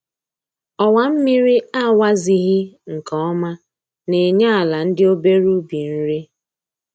Ọwa mmiri a wazighị nke ọma na-enye ala ndị obere ubi nri